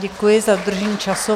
Děkuji za dodržení času.